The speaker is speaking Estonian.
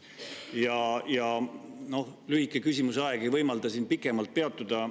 Lühike küsimuse aeg ei võimalda sellel pikemalt peatuda.